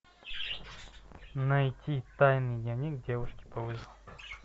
найти тайный дневник девушки по вызову